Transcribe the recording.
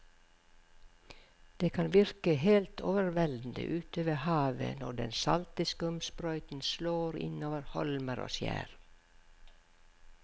Det kan virke helt overveldende ute ved havet når den salte skumsprøyten slår innover holmer og skjær.